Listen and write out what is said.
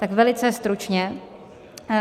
Tak velice stručně.